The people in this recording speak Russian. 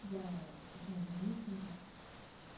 да ну нынешнего